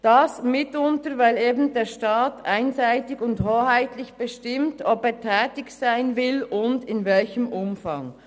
Das mitunter, weil eben der Staat einseitig und hoheitlich bestimmt, ob er tätig sein will und in welchem Umfang.